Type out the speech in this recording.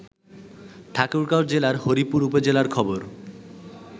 ঠাকুরগাঁও জেলার হরিপুর উপজেলার খবর